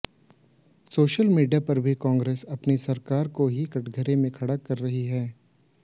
social media पर भी कांग्रेसी अपनी सरकार को ही कठघरे में खड़ा कर रहे हैं